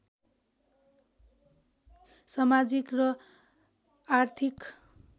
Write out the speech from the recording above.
समाजिक र आर्थिक